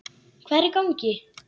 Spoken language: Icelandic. Hvað er í gangi!